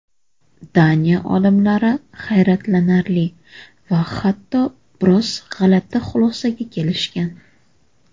Daniya olimlari hayratlanarli va hatto biroz g‘alati xulosaga kelishgan.